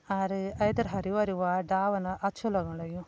और ऐथर हरी भरी व डालन अच्छु लगण लग्युं।